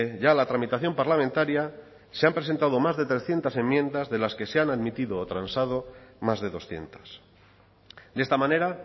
ya la tramitación parlamentaria se han presentado más de trescientos enmiendas de las que se han admitido o transado más de doscientos de esta manera